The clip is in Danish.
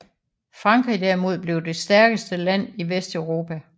Frankrig derimod blev det stærkeste land i Vesteuropa